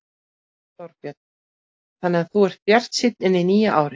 Þorbjörn: Þannig að þú ert bjartsýn inn í nýja árið?